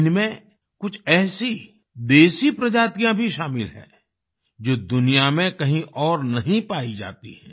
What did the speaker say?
इनमें कुछ ऐसी देसी प्रजातियाँ भी शामिल हैं जो दुनिया में कहीं और नहीं पाई जाती हैं